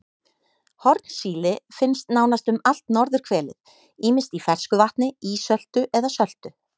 Hornsíli finnst nánast um allt norðurhvelið ýmist í fersku vatni, ísöltu eða söltu.